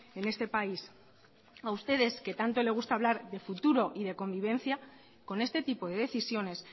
en este país a ustedes que tanto le gusta hablar de futuro y de convivencia con este tipo de decisiones